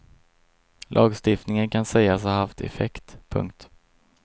Lagstiftningen kan sägas ha haft effekt. punkt